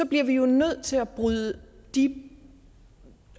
bliver vi jo nødt til at bryde de